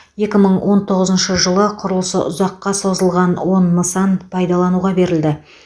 екі мың он тоғызыншы жылы құрылысы ұзаққа созылған он нысан пайдалануға берілді